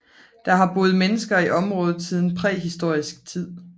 Der har boet mennesker i området siden præhistorisk tid